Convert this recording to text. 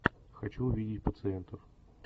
хочу увидеть пациентов